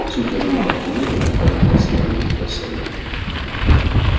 всю тяжёлую артиллерию направили на самого доктора сэлдона